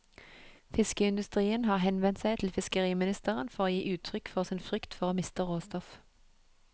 Fiskeindustrien har henvendt seg til fiskeriministeren for å gi uttrykk for sin frykt for å miste råstoff.